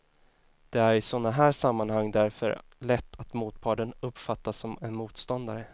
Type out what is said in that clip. Det är i sådana här sammanhang därför lätt att motparten uppfattas som en motståndare.